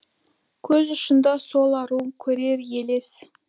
көз ұшында сол ару көрер елес